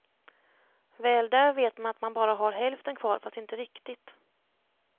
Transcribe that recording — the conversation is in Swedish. Väl där vet man att man bara har hälften kvar, fast inte riktigt.